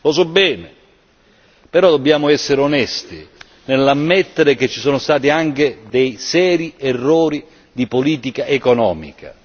Lo so bene, però dobbiamo essere onesti nell'ammettere che ci sono stati anche dei seri errori di politica economica.